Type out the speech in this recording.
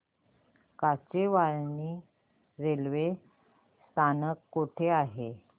Kachewani railway स्थानक कुठे आहे